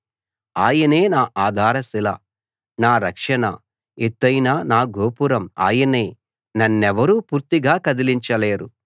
ఆయనే నా ఆధార శిల నా రక్షణ ఎత్తయిన నా గోపురం ఆయనే నన్నెవరూ పూర్తిగా కదలించలేరు